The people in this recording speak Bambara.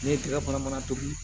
Ne ye kile kɔnɔ mana tobi